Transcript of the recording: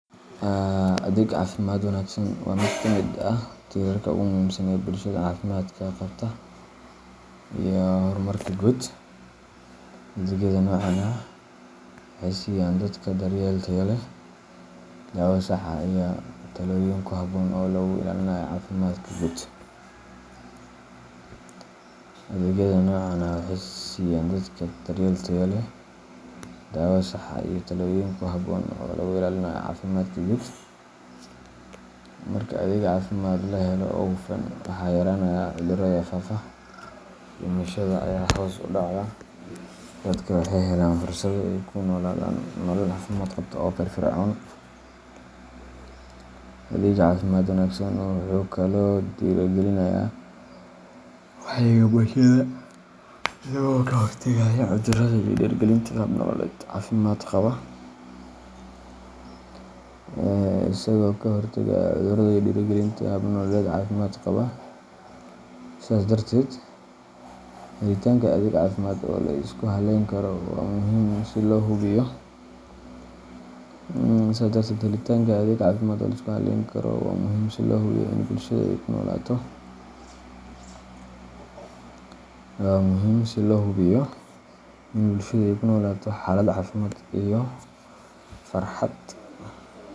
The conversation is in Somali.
Adeeg caafimaad wanaagsan waa mid ka mid ah tiirarka ugu muhiimsan ee bulshada caafimaadka qabta iyo horumarka guud. Adeegyada noocan ah waxay siiyaan dadka daryeel tayo leh, daawo sax ah, iyo talooyin ku habboon oo lagu ilaalinayo caafimaadka guud. Marka adeeg caafimaad la helo oo hufan, waxaa yaraanaya cudurrada faafa, dhimashada ayaa hoos u dhacda, dadka waxay helaan fursado ay ku noolaadaan nolol caafimaad qabta oo firfircoon. Adeegga caafimaadka wanaagsan wuxuu kaloo dhiirrigeliyaa wacyiga bulshada, isaga oo ka hortagaya cudurrada iyo dhiirrigelinta hab nololeed caafimaad qaba. Sidaas darteed, helitaanka adeeg caafimaad oo la isku halleyn karo waa muhiim si loo hubiyo in bulshada ay ku noolaato xaalad caafimaad iyo farxad.